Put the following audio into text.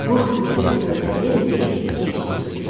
Qurd fürsəti fövtə verməyib keçini tutdu.